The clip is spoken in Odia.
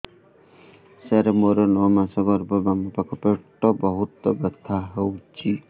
ସାର ମୋର ନଅ ମାସ ଗର୍ଭ ବାମପାଖ ପେଟ ବହୁତ ବଥା ହଉଚି